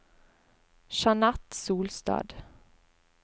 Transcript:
Jeanette Solstad